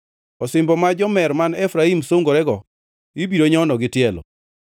Osimbo ma jomer man Efraim sungorego ibiro nyono gi tielo.